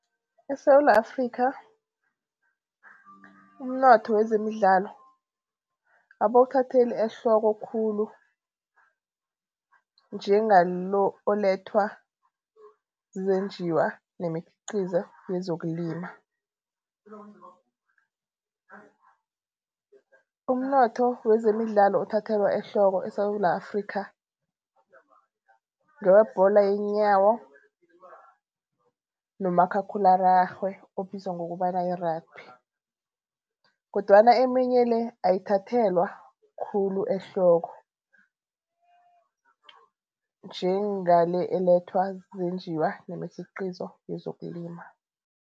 ESewula Afrikha umnotho wezemidlalo abawuthatheli ehloko khulu, njengalo olethwa zizenjiwa nemikhiqizo yezokulima. Umnotho wezemidlalo othathelwa ehloko eSewula Afrikha, ngewebholo yeenyawo nomakhakhulararhwe obizwa ngokobana yi-rugby kodwana eminye le, ayithathelwa khulu ehloko njenga le elethwa zizenjiwa nemikhiqizo yezokulima.